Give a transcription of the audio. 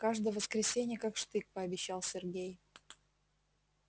каждое воскресенье как штык пообещал сергей